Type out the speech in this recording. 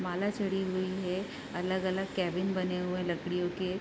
माला चढ़ी हुई है अलग-अलग केबिन बने हुए हैं लकड़ियों के।